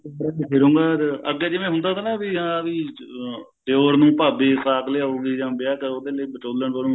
ਅੱਗੇ ਜਿਵੇਂ ਹੁੰਦਾ ਤਾ ਨਾ ਵੀ ਹਾਂ ਵੀ ਦਿਓਰ ਨੂੰ ਭਾਬੀ ਸਾਕ ਲਿਆਉਗੀ ਜਾਂ ਵਿਆਹ ਚ ਉਹਦੇ ਲਈ ਵਚੋਲਨ ਬਨੁਗੀ